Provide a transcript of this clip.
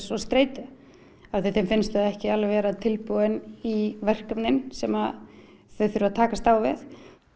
og streitu því þeim finnst þau ekki vera tilbúin í verkefni sem þau þurfa að takast á við